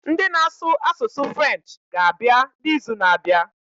Ndị na asụ asụsụ French ga abịa na izu na abịa